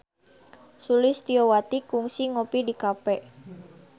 Sulistyowati kungsi ngopi di cafe